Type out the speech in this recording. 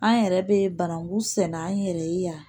An yɛrɛ bɛ bananku sɛnɛ an yɛrɛ ye yan